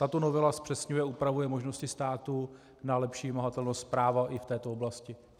Tato novela zpřesňuje a upravuje možnosti státu na lepší vymahatelnost práva i v této oblasti.